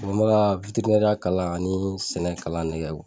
n mɛ ka ya kalan ani sɛnɛ kalan ne kɛ